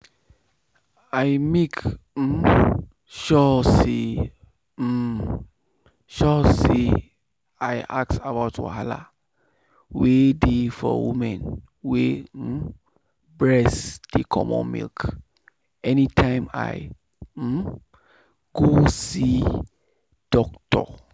i make um sure say um sure say i ask about wahala wey dey for women wey um breast dey comot milk anytime i um go see doctor.